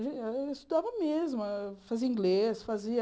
A gente estudava mesmo, fazia inglês, fazia...